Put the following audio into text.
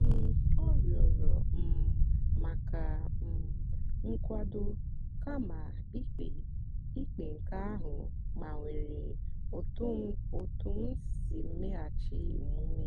um ọ rịọrọ um maka um nkwado kama ikpe ikpe nke ahụ gbanwere otú m si meghachi omume.